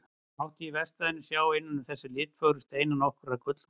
Mátti í verkstæðinu sjá innan um þessa litfögru steina nokkra gullmola.